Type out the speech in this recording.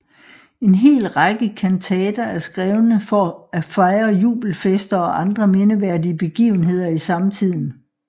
En hel række kantater er skrevne for at fejre jubelfester og andre mindeværdige begivenheder i samtiden